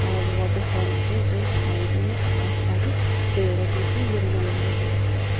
और water fountain के just side में बहुत सारे पेड़ हैं जो कि येलो येलो कलर के हैं।